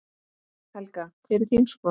Helga: Hver er þín skoðun?